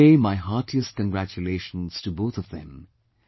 I convey my heartiest congratulations to both of them